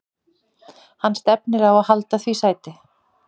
Hann stefnir á að halda því sæti.